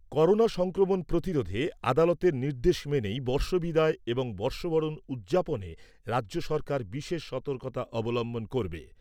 Corona সংক্রমণ প্রতিরোধে আদালতের নির্দেশ মেনেই বর্ষবিদায় এবং বর্ষবরণ উদযাপনে রাজ্য সরকার বিশেষ সতর্কতা অবলম্বন করবে।